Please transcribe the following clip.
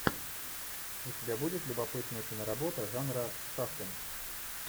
у тебя будет любопытная киноработа жанра саспенс